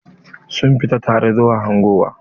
Sun fita tare zuwa hangowa.